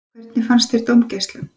Hvernig fannst þér dómgæslan?